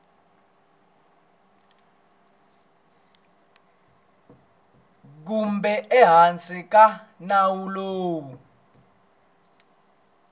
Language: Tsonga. kumbe ehansi ka nawu lowu